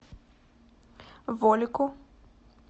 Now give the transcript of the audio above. волику